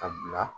Ka bila